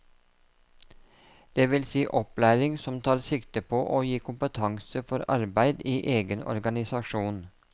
Det vil si opplæring som tar sikte på å gi kompetanse for arbeid i egen organisasjon.